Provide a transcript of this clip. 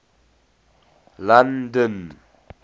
london